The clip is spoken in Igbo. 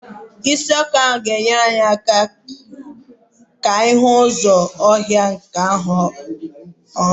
Isi ọkụ ahụ ga enyere anyị aka ịhụ ụzọ ọhịa ahụ nke ọma.